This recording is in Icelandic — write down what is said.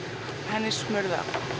henni er smurt